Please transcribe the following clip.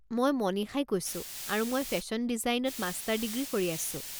মই মনিষাই কৈছোঁ আৰু মই ফেশ্বন ডিজাইনত মাষ্টাৰ ডিগ্ৰী কৰি আছোঁ।